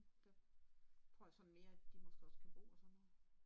Der tror jeg sådan mere at de måske også kan bo og sådan noget